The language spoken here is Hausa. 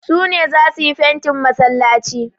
Su ne za su yi fentin masallaci.